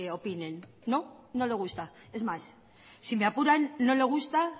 opinen no no le gusta es más si me apuran no le gusta